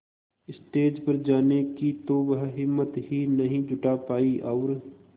stage पर जाने की तो वह हिम्मत ही नहीं जुटा पाई और